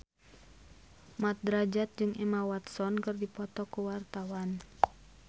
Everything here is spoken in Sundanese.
Mat Drajat jeung Emma Watson keur dipoto ku wartawan